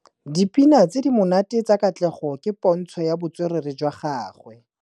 Dipina tse di monate tsa Katlego ke pôntshô ya botswerere jwa gagwe.